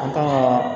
An kan ka